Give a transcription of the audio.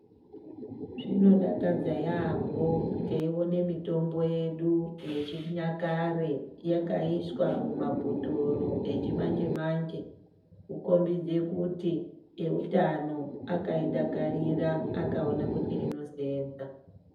Zvinodakadza yambo teione mitombo yedu yechinyakare yakaiswa mumabhotoro echimanje manje kukombidze kuti ewutano akaida akaone kuti inosenza